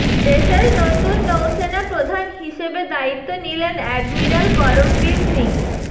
দেশের নতুন নৌসেনা প্রধান হিসেবে দায়িত্ব নিলেন অ্যাডমিরাল করমবীর সিং